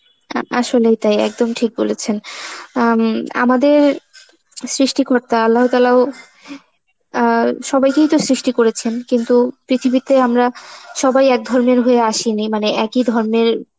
অ্যাঁ আসলেই তাই, একদম ঠিক বলেছেন. আ উম আমাদের সৃষ্টিকর্তা আল্লাহ তালাহ, অ্যাঁ সবাইকেই তো সৃষ্টি করেছেন, কিন্তু পৃথিবীতে আমরা সবাই এক ধর্মের হয়ে আসেন, মানে একই ধর্মের